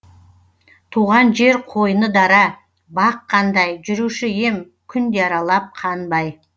туған жер қойны дара бақ қандай жүруші ем күнде аралап қанбай